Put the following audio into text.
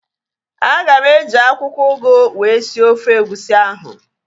Aga m eji akwụkwọ ugu wee sie ofe egusi ahu